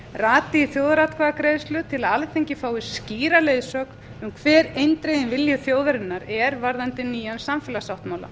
rati í þjóðaratkvæðagreiðslu til að alþingi fái skýra leiðsögn um hver eindreginn vilji þjóðarinnar er varðandi nýjan samfélagssáttmála